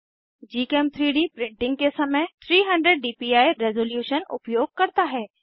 gchem3डी प्रिंटिंग के समय 300 डीपीआई रेसोलुशन उपयोग करता है